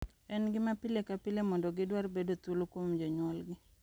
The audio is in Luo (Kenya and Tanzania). En gima pile ka pile mondo gidwar bedo thuolo kuom jonyuolgi.